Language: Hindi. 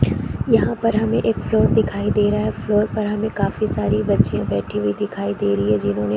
यहाँ पर हमें एक फ्लोर दिखाई दे रहा है फ्लोर पर हमें काफी सारी बच्चियाँ बैठी हुई दिखाई दे रही है जिन्होंने --